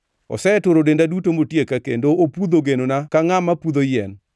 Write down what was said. Oseturo denda duto motieka kendo opudho genona ka ngʼama pudho yien.